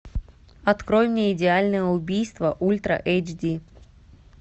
открой мне идеальное убийство ультра эйч ди